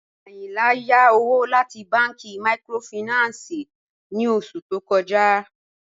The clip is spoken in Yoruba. Ayìnlá yá òwò láti bànki míkrófáìnánsì ní ọṣù tó kọ̀já